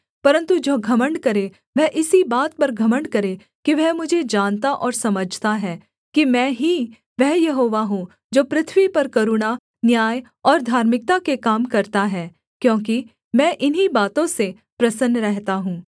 परन्तु जो घमण्ड करे वह इसी बात पर घमण्ड करे कि वह मुझे जानता और समझता है कि मैं ही वह यहोवा हूँ जो पृथ्वी पर करुणा न्याय और धार्मिकता के काम करता है क्योंकि मैं इन्हीं बातों से प्रसन्न रहता हूँ